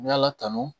Ni ala tanu